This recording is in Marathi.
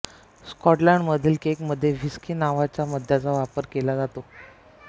स्काॅटलंड मधील केकमधे व्हिस्की नावाच्या मद्याचा वापर केला जातो